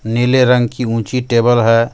नीले रंग की ऊँची टेबल हे.